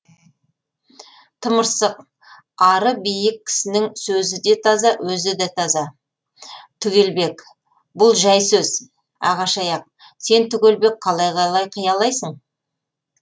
тымырсық ары биік кісінің сөзі де таза өзі де таза түгелбек бұл жәй сөз ағаш аяқ сен түгелбек қалай қалай қиялайсың